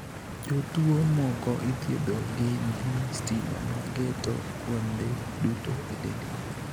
Jotuo moko ithiedho gi mbii stima ma geto kuonde duto e dendgi.